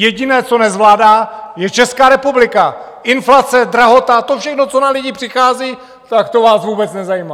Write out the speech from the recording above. Jediné, co nezvládá, je Česká republika - inflace, drahota, to všechno, co na lidi přichází, tak to vás vůbec nezajímá.